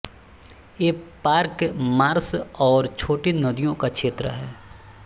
ये park marsh और छोटी नदियों का क्षेत्र है